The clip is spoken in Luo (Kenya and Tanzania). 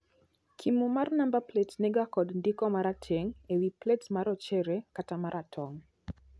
Kimo mar namba plets ni ga kod ndiko marateng' ewii plets marochere kata maratong'.